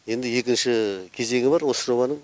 енді екінші кезеңі бар осы жобаның